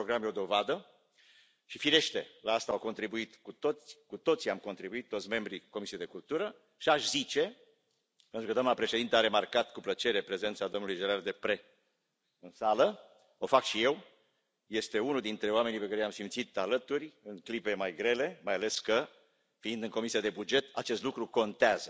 Acest program e o dovadă și, firește, la asta am contribuit cu toții, toți membrii Comisiei pentru cultură și aș zice pentru că doamna președintă a remarcat cu plăcere prezența domnului Gérard Deprez în sală, o fac și eu, este unul dintre oamenii pe care i am simțit alături în clipe mai grele, mai ales că, fiind în Comisia pentru bugete, acest lucru contează,